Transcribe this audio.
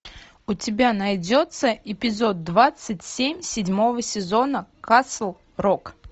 у тебя найдется эпизод двадцать семь седьмого сезона касл рок